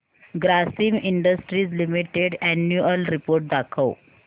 Grasim industries limited annual report दाखव